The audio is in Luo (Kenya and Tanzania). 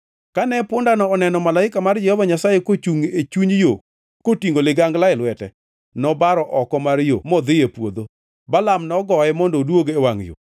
Kane pundano oneno malaika mar Jehova Nyasaye kochungʼ e chuny yo kotingʼo ligangla e lwete, nobaro oko mar yo modhi e puodho. Balaam nogoye mondo oduog e wangʼ yo.